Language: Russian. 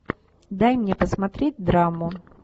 дай мне посмотреть драму